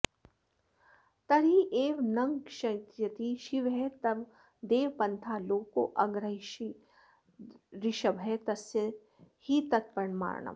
तर्ह्येव नङ्क्ष्यति शिवस्तव देव पन्था लोकोऽग्रहीष्यदृषभस्य हि तत्प्रमाणम्